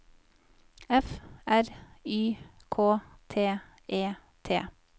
F R Y K T E T